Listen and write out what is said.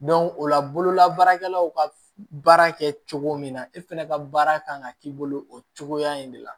o la bololabaarakɛlaw ka baara kɛ cogo min na e fɛnɛ ka baara kan ka k'i bolo o cogoya in de la